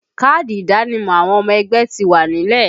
Káàdì ìdánimọ̀ àwọn ọmọ ẹgbẹ́ ti wà nílẹ̀